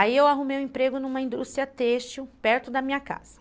Aí eu arrumei um emprego numa indústria têxtil, perto da minha casa.